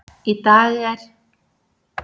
Í dag er